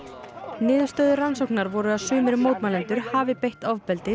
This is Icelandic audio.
niðurstöður rannsóknar voru að sumir mótmælendur hafi beitt ofbeldi